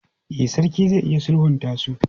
E, sarki zai iya sulhunta su.